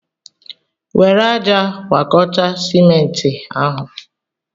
Were ájá gwakọta simenti ahụ!